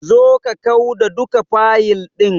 Zo ka kau da duka fayil ɗin.